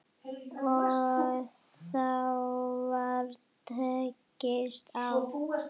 Og þá var tekist á.